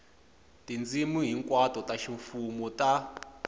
tindzimi hinkwato ta ximfumo ta